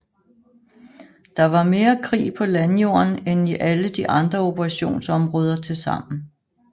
Der var mere krig på landjorden end i alle de andre operationsområder tilsammen